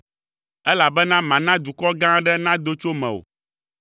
elabena mana dukɔ gã aɖe nado tso mewò.